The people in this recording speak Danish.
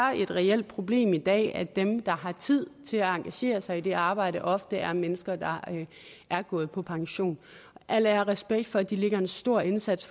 et reelt problem i dag at dem der har tid til at engagere sig i det arbejde ofte er mennesker der er gået på pension al ære og respekt for at de lægger en stor indsats